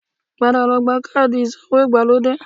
Padà lọ gba káàdì ìsawó ìgbàlódé rẹ